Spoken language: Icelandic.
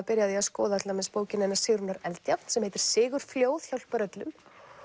byrjum á því að skoða til dæmis bókina hennar Sigrúnar Eldjárn sem heitir Sigurfljóð hjálpar öllum